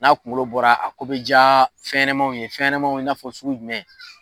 N'a kunkolo bɔra a ko be jaa fɛnɲɛnɛmanw ye fɛnɲɛmaw i n'a fɔ sugu jumɛn